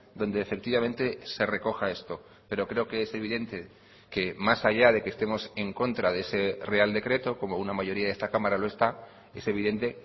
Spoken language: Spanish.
donde efectivamente se recoja esto pero creo que es evidente que más allá de que estemos en contra de ese real decreto como una mayoría de esta cámara lo está es evidente